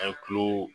A ye kulo